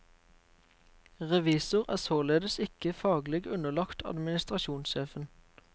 Revisor er således ikke faglig underlagt administrasjonssjefen.